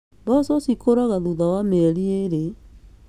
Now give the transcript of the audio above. Mboco cikũraga thutha wa mĩeri ĩĩrĩ